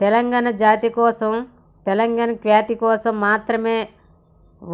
తెలంగాణ జాతి కోసం తెలంగాణ ఖ్యాతి కోసం మాత్రమే